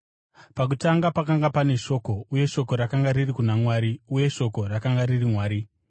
Pakutanga pakanga pane Shoko, uye Shoko rakanga riri kuna Mwari, uye Shoko rakanga riri Mwari.